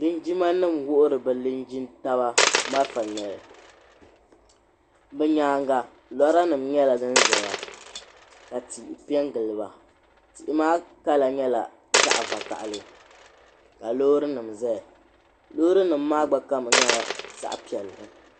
Linjima nima wuhiri bɛ linjin'taba malifa ŋmɛli bɛ nyaanga lora nima nyɛla din zaya ka tihi piɛngili ba tihi maa kala nyɛla zaɣa vakahali ka loori nima zaya loori nima maa gba kama nyɛla zaɣa piɛlli.